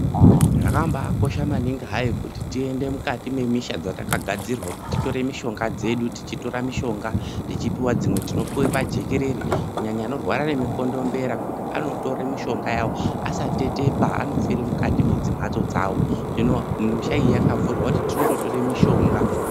Zvakabakosha maningi hai kuti tiende Mukati memisha dzatakaga zurwabkuti torore mare yedu unopuwa mishonga tichipuwa jekwrere kunyanya anorwara nemukondombera Kuti asatora mishonga asatye andotora mishonga mishaniui yakagadzirrwa andotora mishonga.